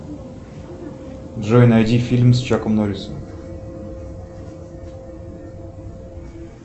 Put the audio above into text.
джой найди фильм с чаком норрисом